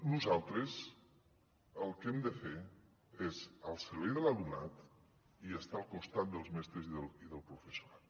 nosaltres el que hem de fer és al servei de l’alumnat i estar al costat dels mestres i del professorat